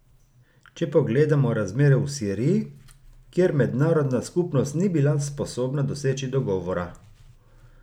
Če pogledamo razmere v Siriji, kjer mednarodna skupnost ni bila sposobna doseči dogovora.